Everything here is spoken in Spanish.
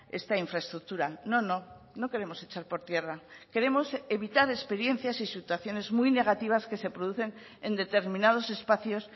esta infraestructura no no no queremos echar por tierra queremos evitar experiencias y situaciones muy negativas que se producen en determinados espacios